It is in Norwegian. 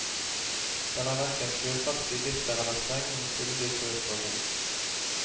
Den er hverken fjøsaktig, bitter eller streng, men fyldig, søt og god.